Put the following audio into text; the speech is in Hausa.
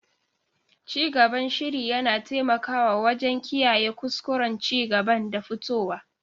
Cigaban shiri yana taimakawa wajen kiyaye kuskuren cigaban da fitowa.